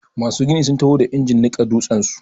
Masu gini sun taho da injin niƙa dutsen su.